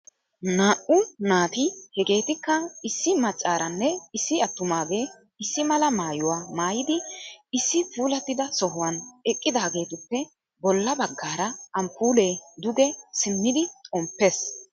Na"u naati hegeetikka issi maccaaranne issi attumaage issi mala maayyuwaa maayyidi issi puulatida sohuwaan eqqidaagetuppe bolla baggaara amppuule duge simmidi xomppees.